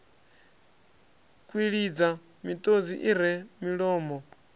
kwilidza miṱodzi i re milomo